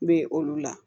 N bɛ olu la